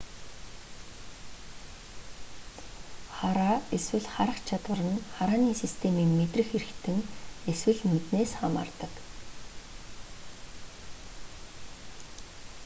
хараа эсвэл харах чадвар нь харааны системийн мэдрэх эрхтэн эсвэл нүднээс хамаардаг